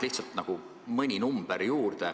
Ütlen mõne arvu juurde.